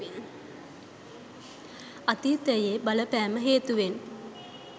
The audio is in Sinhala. අගතියේ බලපෑම හේතුවෙන්